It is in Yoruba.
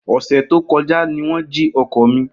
Ose to koja ni won ji oko mi.